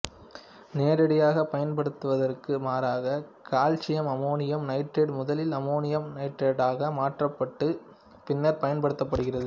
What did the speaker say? நேரடியாகப் பயன்படுத்தப்படுவதற்கு மாறாக கால்சியம் அம்மோனியம் நைட்ரேட்டு முதலில் அமோனியம் நைட்ரேட்டாக மாற்றப்பட்டு பின்னர் பயன்படுத்தப்படுகிறது